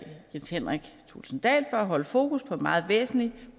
jens henrik thulesen dahl for at holde fokus på en meget væsentlig